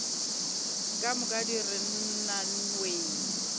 ka moka di re nnawee